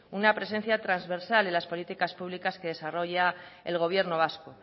una presencia transversal en las políticas públicas que desarrolla el gobierno vasco